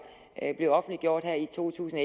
bliver offentliggjort her i to tusind